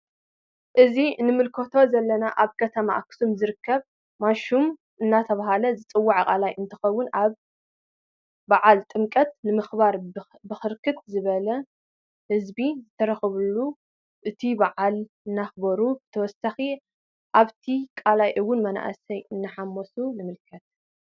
እዚ ንምልከቶ ዘለና አብ ከተማ አክሱም ዝርከብ ማሹም እናተባህለ ዝፀዋዕ ቃላይ እንተኮውን አብ በዓል ጥምቀት ንምክባር ብርክት ዝበለ ህዝቢ ዝተረከበሉ እቲ በዓል እናክበሩን በተወሳኪ አበቲ ቃላይ እውን መናእሰይ እናሓመሱ ንምልከት።